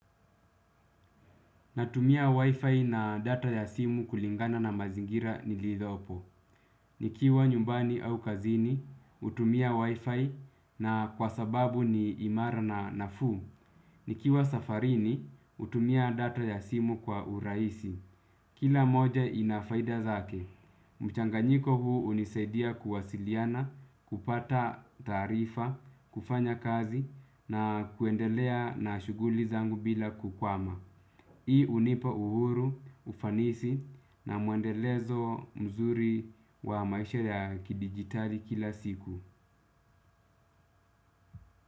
Natumia wifi na data ya simu kulingana na mazingira niliyopo. Nikiwa nyumbani au kazini, hutumia wifi na kwa sababu ni imara na nafuu. Nikiwa safarini, hutumia data ya simu kwa urahisi. Kila moja ina faida zake. Mchanganyiko huu hunisaidia kuwasiliana, kupata taarifa, kufanya kazi na kuendelea na shughuli zangu bila kukwama. Hii hunipa uhuru, ufanisi na mwendelezo mzuri wa maisha ya kidigitali kila siku.